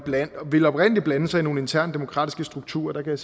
ville oprindelig blande sig i nogle interne demokratiske strukturer der kan